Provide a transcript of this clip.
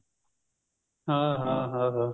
ਹਾਂ ਹਾਂ ਹਾਂ ਹਾਂ